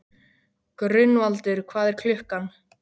Gunnvaldur, hvað er klukkan?